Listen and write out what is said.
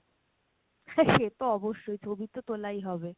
সে তো অবশ্যই ছবি তো তোলাই হবে।